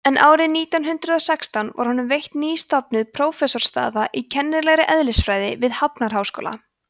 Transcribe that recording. en árið nítján hundrað og sextán var honum veitt nýstofnuð prófessorsstaða í kennilegri eðlisfræði við hafnarháskóla